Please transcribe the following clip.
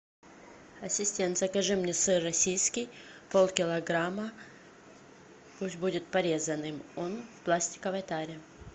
ассистент закажи мне сыр российский полкилограмма пусть будет порезанным он в пластиковой таре